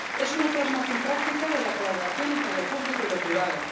Es una plasmación práctica de la colaboración entre lo público y lo privado.